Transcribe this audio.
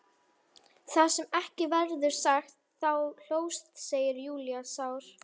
Það sem ekki verður sagt Þú hlóst, segir Júlía sár.